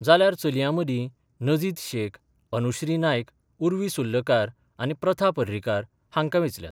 जाल्यार चलयां मदीं नजीद शेख अनुश्री नायक, उर्वी सुर्लकार आनी प्रथा पर्रीकार हांकां वेंचल्यात.